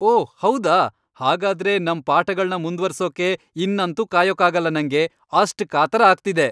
ಓಹ್ ಹೌದಾ! ಹಾಗಾದ್ರೆ ನಮ್ ಪಾಠಗಳ್ನ ಮುಂದ್ವರ್ಸೋಕೆ ಇನ್ನಂತೂ ಕಾಯೋಕಾಗಲ್ಲ ನಂಗೆ.. ಅಷ್ಟ್ ಕಾತರ ಆಗ್ತಿದೆ!